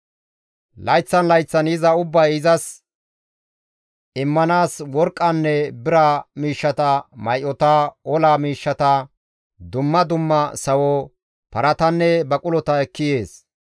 Layththan layththan yiza ubbay izas immanaas worqqanne bira miishshata, may7ota, ola miishshata, dumma dumma sawo, paratanne baqulota ekki yeettes.